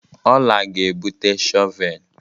Ọla ga-ebute shọvel.